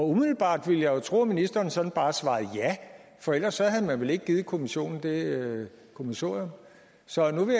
umiddelbart ville jeg jo tro at ministeren sådan bare svarede ja for ellers havde man vel ikke givet kommissionen det kommissorium så nu vil